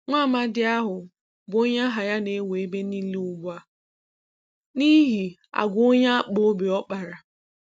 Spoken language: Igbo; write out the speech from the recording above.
Nwaamadị ahụ bụ onye aha ya na-ewu ebe niile ugbua n'ihi agwa onye akpụobi ọ kpara.